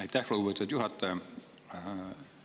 Aitäh, lugupeetud juhataja!